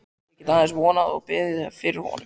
Ég get aðeins vonað og beðið fyrir honum.